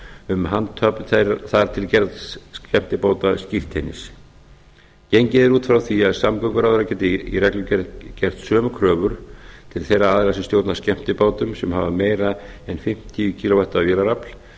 um handhöfn þar til gerðs eftirbótaskírteinis gengið er út frá því að samgönguráðherra geti í reglugerð gert sömu kröfur til þeirra aðila sem stjórna skemmtibátum sem hafa meira en fimmtíu á vélarafl